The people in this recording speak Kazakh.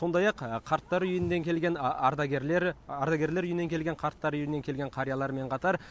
сондай ақ қарттар үйінен келген ардагерлер ардагерлер үйінен келген қарттар үйінен келген қариялармен қатар